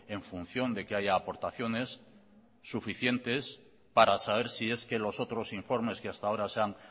en función de que haya aportaciones suficientes para saber si es que los otros informes que hasta ahora se han